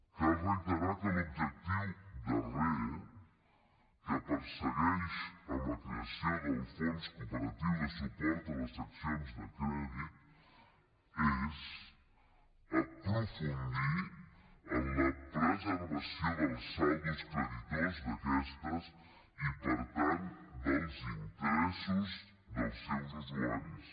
cal reiterar que l’objectiu darrer que persegueix amb la creació del fons cooperatiu de suport a les seccions de crèdit és aprofundir en la preservació dels saldos creditors d’aquestes i per tant dels interessos dels seus usuaris